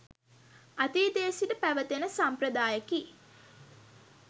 අතීතයේ සිට පැවත එන සම්ප්‍රදායකි.